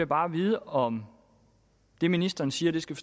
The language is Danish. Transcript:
bare vide om det ministeren siger skal